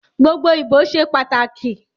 Gbogbo ibo ṣe pataki